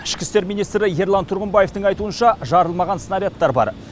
ішкі істер министрі ерлан тұрғымбаевтың айтуынша жарылмаған снарядтар бар